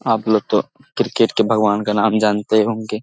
आपलोग तो क्रिकेट के भगवान का नाम जानते होंगे।